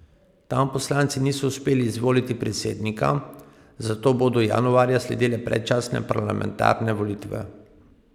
Tam poslanci niso uspeli izvoliti predsednika, zato bodo januarja sledile predčasne parlamentarne volitve.